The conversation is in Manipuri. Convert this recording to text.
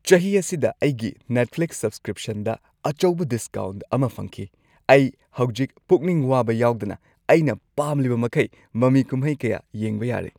ꯆꯍꯤ ꯑꯁꯤꯗ ꯑꯩꯒꯤ ꯅꯦꯠꯐ꯭ꯂꯤꯛꯁ ꯁꯕꯁꯀ꯭ꯔꯤꯞꯁꯟꯗ ꯑꯆꯧꯕ ꯗꯤꯁꯀꯥꯎꯟꯠ ꯑꯃ ꯐꯪꯈꯤ꯫ ꯑꯩ ꯍꯧꯖꯤꯛ ꯄꯨꯛꯅꯤꯡ ꯋꯥꯕ ꯌꯥꯎꯗꯅ ꯑꯩꯅ ꯄꯥꯝꯂꯤꯕꯃꯈꯩ ꯃꯃꯤ ꯀꯨꯝꯍꯩ ꯀꯌꯥ ꯌꯦꯡꯕ ꯌꯥꯔꯦ꯫